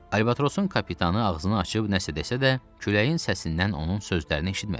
Albatrosun kapitanı ağzını açıb nəsə desə də, küləyin səsindən onun sözlərini eşitmədik.